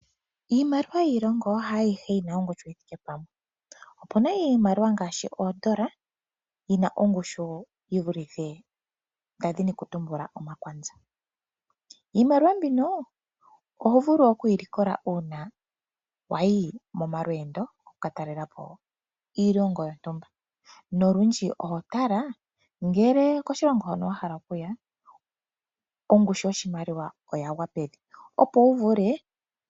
Iimaliwa yiilongo hayihe yina ongushu yithike pamwe. Opuna iimaliwa ngaashi oondola yina ongushu yi vulithe omakwanza. Iimaliwa mbino oho vulu okuyilikola uuna wayi momalweendo wu katalelepo iilongo yontumba. Nolundji oho tala koshilongo hono wa hala okuya ngele ongushu yoshimaliwa oyagwa pevi.